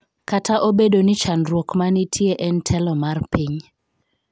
Kata obedo ni chandruok ma nitie en telo mar piny.